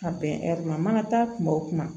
Ka bɛn ma ka taa kuma o kuma